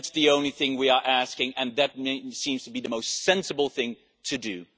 That is the only thing we are asking and that seems to be the most sensible thing to do.